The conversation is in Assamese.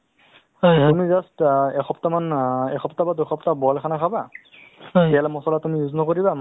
তেনেকুৱা এটা project ওলাইছিলে wish foundation ৰ পৰা so সেইটো যিটো আমাৰ wish foundation আছিলে সেই wish foundation য়ে আপোনাৰ